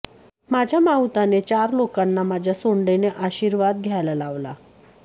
माझ्या माहुताने चार लोकांना माझ्या सोंडेने आशिर्वादा द्यायला लावला